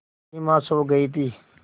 सिमा सो गई थी